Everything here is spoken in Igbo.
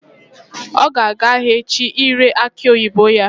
Ọ ga-aga ahịa echi ire akị oyibo ya